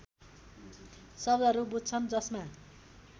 शब्दहरू बुझ्छन् जसमा